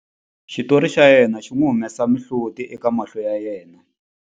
Xitori xa yena xi n'wi humesa mihloti eka mahlo ya yena.